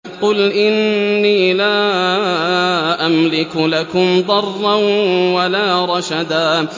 قُلْ إِنِّي لَا أَمْلِكُ لَكُمْ ضَرًّا وَلَا رَشَدًا